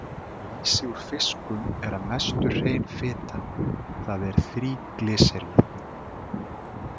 Lýsi úr fiskum er að mestu hrein fita, það er þríglýseríð.